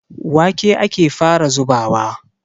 Wake ake fara zubawa.